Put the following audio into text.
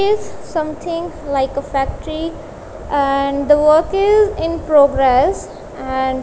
is something like a factory and the work is in progress and --